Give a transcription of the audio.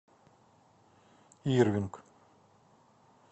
ирвинг